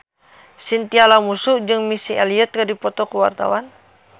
Chintya Lamusu jeung Missy Elliott keur dipoto ku wartawan